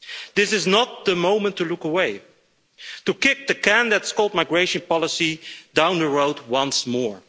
This is not the moment to look away, to kick the can that is called migration policy' down the road once more.